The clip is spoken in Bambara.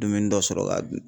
Dumuni dɔ sɔrɔ k'a dun.